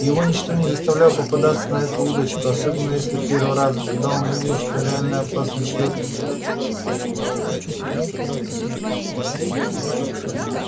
его ничто не заставляло попадаться на эту удочку особенно если после первого раза когда он увидел что реальная опасность человеку не грозит